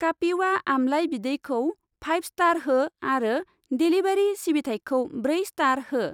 कापिवा आमलाइ बिदैखौ फाइभ स्टार हो आरो डेलिभारि सिबिथायखौ ब्रै स्टार हो।